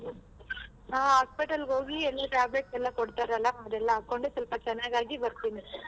ಹಾ hospital ಗೆ ಹೋಗಿ ಎಲ್ಲ tablet ಎಲ್ಲ ಕೊಡ್ತಾರಲ್ಲ ಅದೆಲ್ಲ ಹಾಕೊಂಡು ಸ್ವಲ್ಪ ಚೆನಾಗಿ ಆಗಿ ಬರ್ತೀನಿ.